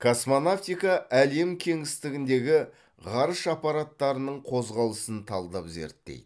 космонавтика әлем кеңістігіндегі ғарыш аппараттарының қозғалысын талдап зерттейді